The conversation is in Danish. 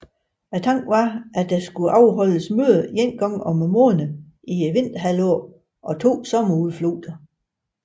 Tanken var at der skulle afholdes møder én gang om måneden vinterhalvåret og to sommerudflugter